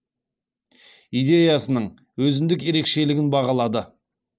идеясының өзіндік ерекшелігін бағалады